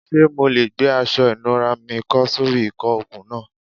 Ṣe MO le gbe aṣọ ìnura mi kọ́ sori ìkọ okun naa